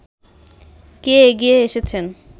কে এগিয়ে এসেছেন